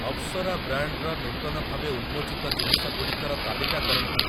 ଅପସରା ବ୍ରାଣ୍ଡ୍‌‌‌ର ନୂତନ ଭାବେ ଉନ୍ମୋଚିତ ଜିନିଷ ଗୁଡ଼ିକର ତାଲିକା କରନ୍ତୁ ।